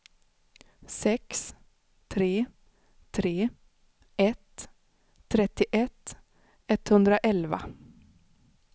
sex tre tre ett trettioett etthundraelva